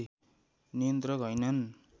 नियन्त्रक हैनन्